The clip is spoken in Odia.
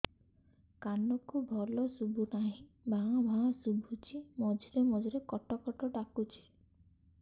କାନକୁ ଭଲ ଶୁଭୁ ନାହିଁ ଭାଆ ଭାଆ ଶୁଭୁଚି ମଝିରେ ମଝିରେ କଟ କଟ ଡାକୁଚି